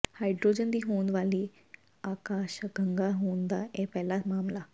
hydrogen ਦੀ ਹੋਂਦ ਵਾਲੀ ਆਕਾਸ਼ਗੰਗਾ ਦੀ ਹੋਂਦ ਦਾ ਇਹ ਪਹਿਲਾ ਮਾਮਲਾ